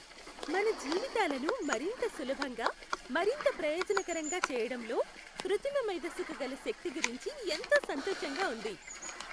మన జీవితాలను మరింత సులభంగా, మరింత ప్రయోజనకరంగా చేయడంలో, కృత్రిమ మేధస్సుకు గల శక్తి గురించి ఎంతో సంతోషంగా ఉంది.